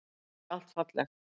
Og ekki allt fallegt.